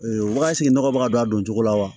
wagati nɔgɔ bɛ ka don a doncogo la wa